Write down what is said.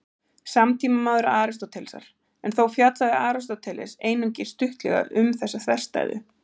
Evbúlídes var samtímamaður Aristótelesar, en þó fjallaði Aristóteles einungis stuttlega um þessa þverstæðu.